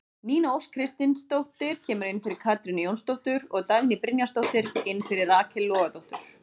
Nína Ósk Kristinsdóttir kemur inn fyrir Katrínu Jónsdóttur og Dagný Brynjarsdóttir inn fyrir Rakel Logadóttur.